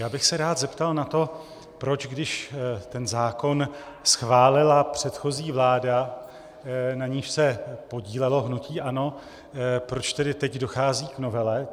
Já bych se rád zeptal na to, proč když ten zákon schválila předchozí vláda, na níž se podílelo hnutí ANO, proč tedy teď dochází k novele.